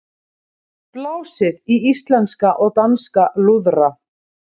Blásið í íslenska og danska lúðra